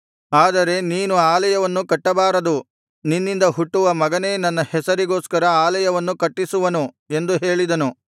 ಆದರೆ ನೀನು ಆಲಯವನ್ನು ಕಟ್ಟಬಾರದು ನಿನ್ನಿಂದ ಹುಟ್ಟುವ ಮಗನೇ ನನ್ನ ಹೆಸರಿಗೋಸ್ಕರ ಆಲಯವನ್ನು ಕಟ್ಟಿಸುವನು ಎಂದು ಹೇಳಿದನು